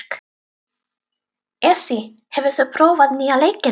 Esí, hefur þú prófað nýja leikinn?